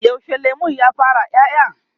yaushe lemun ya fara ƴaƴa?